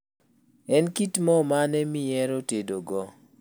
En kit moo mane mihero tedo go?